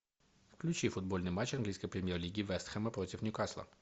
включи футбольный матч английской премьер лиги вест хэма против ньюкасла